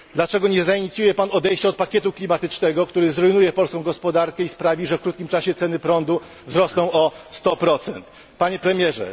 Dlaczego nie zainicjuje Pan odejścia od pakietu klimatycznego, który zrujnuje polską gospodarkę i sprawi, że w krótkim czasie ceny prądu wzrosną o 100? Panie Premierze!